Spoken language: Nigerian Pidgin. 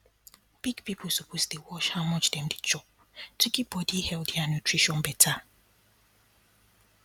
big people suppose dey watch how much dem dey chop to keep body healthy and nutrition better